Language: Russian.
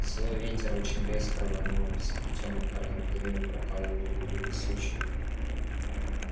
злой ветер очень резко рванул сплетённые корнями деревья прокалывая друг друга сучьями